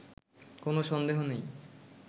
কোনো সন্দেহ নেই